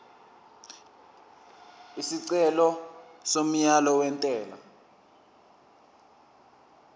isicelo somyalo wentela